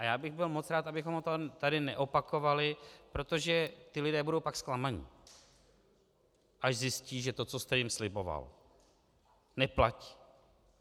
A já bych byl moc rád, abychom to tady neopakovali, protože ti lidé budou pak zklamaní, až zjistí, že to, co jste jim sliboval, neplatí.